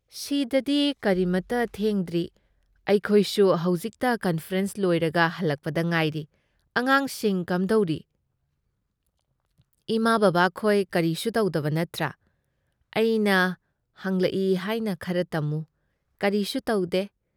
ꯁꯤꯗꯗꯤ ꯀꯔꯤꯃꯠꯇ ꯊꯦꯡꯗ꯭ꯔꯤ ꯑꯩꯈꯣꯏꯁꯨ ꯍꯧꯖꯤꯛꯇ ꯀꯟꯐꯔꯦꯟꯁ ꯂꯣꯏꯔꯒ ꯍꯜꯂꯛꯄꯗ ꯉꯥꯏꯔꯤ ꯫ ꯑꯉꯥꯡꯁꯤꯡ ꯀꯝꯗꯧꯔꯤ? ꯏꯃꯥꯥ ꯕꯕꯥꯈꯣꯏ ꯀꯔꯤꯁꯨ ꯇꯧꯗꯕ ꯅꯠꯇ꯭ꯔꯥ? ꯑꯩꯅ ꯍꯪꯂꯛꯏ ꯍꯥꯏꯅ ꯈꯔ ꯇꯝꯃꯨ ꯫ ꯀꯔꯤꯁꯨ ꯇꯧꯗꯦ꯫